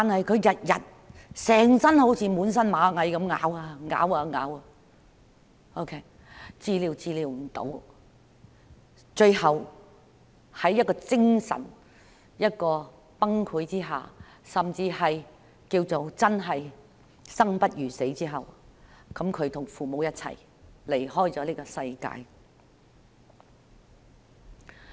她每天就如全身被螞蟻咬噬，濕疹無法治癒，最後在精神崩潰，甚至可說是生不如死之下，與父母一起離開了這個世界。